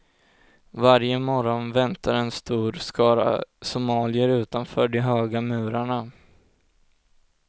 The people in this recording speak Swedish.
Varje morgon väntar en stor skara somalier utanför de höga murarna.